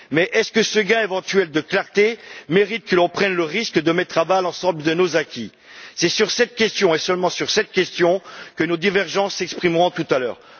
Mais est ce que ce gain éventuel de clarté mérite que l'on prenne le risque de mettre à bas l'ensemble de nos acquis? C'est sur cette question, et seulement sur cette question, que nos divergences s'exprimeront tout à l'heure.